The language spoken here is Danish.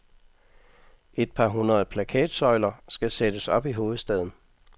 Et par hundrede plakatsøjler skal sættes op i hovedstaden.